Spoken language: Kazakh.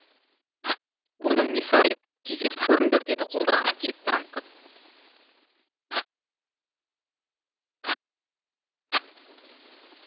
оның несі айып кездесіп көріңдер деді қолдаған кейіп танытып